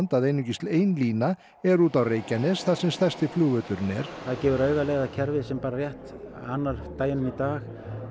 að einungis ein lína er út á Reykjanes þar sem stærsti flugvöllurinn er og það gefur auga leið að kerfi sem rétt annar deginum í dag